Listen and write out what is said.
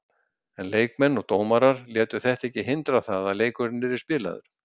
En leikmenn og dómarar létu þetta ekki hindra það að leikurinn yrði spilaður.